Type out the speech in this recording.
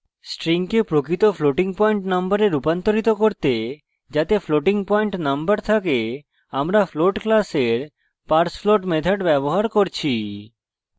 string প্রকৃত floating point number রুপান্তরিত করতে যাতে floating পয়েন্ট number থাকে আমরা float class parsefloat method ব্যবহার করছি